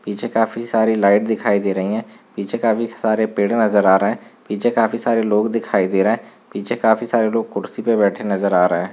पीछे काफी सारे लाइट दिखाई दे रही है पीछे काफी सारे पेड़ नजर आ रहे है पीछे काफी सारे लोग दिखाई दे रहे है पीछे काफी सारे लोग कुर्सी पे बैठे नजर आ रहे है ।